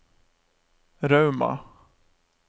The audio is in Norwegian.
Rauma